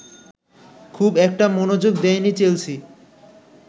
খুব একটা মনোযোগ দেয়নি চেলসি